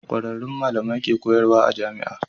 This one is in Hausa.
Kwararrun malamai ke koyarwa a jamia